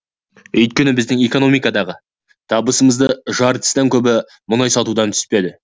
өйткені біздің экономикадағы табысымыздың жартысынан көбі мұнай сатудан түседі